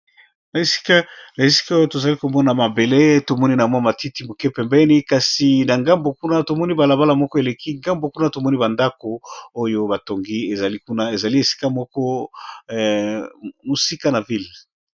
Na , Esika oyo tozali komona mabele tomoni na mwa matiti , moke pembeni kasi na ngambo kuna tomoni , balabala moko eleki ngambo kuna tomoni , bandako oyo batongi ! ezali kuna ,ezali esika, moko mosika na ville .